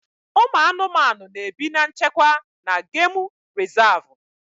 Ụmụ anụmanụ na-ebi na nchekwa na gemụ rizavụ.